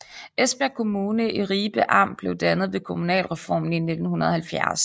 Esbjerg Kommune i Ribe Amt blev dannet ved kommunalreformen i 1970